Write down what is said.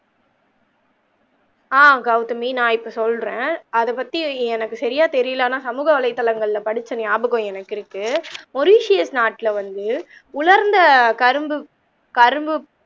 ஆஹ் கௌதமி நான் இப்ப சொல்றேன் அத பத்தி எனக்கு சரியா தெரியல ஆனா சமூக வளைய தலையங்கள்ள படிச்ச ஞாபகம் எனக்கு இருக்கு மொரிசியஸ் நாட்ல வந்து உலர்ந்த கரும்பு கரும்பு